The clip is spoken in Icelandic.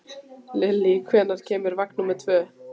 Lilli, hvenær kemur vagn númer tvö?